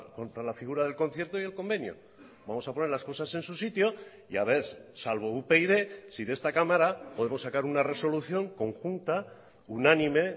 contra la figura del concierto y el convenio vamos a poner las cosas en su sitio y a ver salvo upyd si de esta cámara podemos sacar una resolución conjunta unánime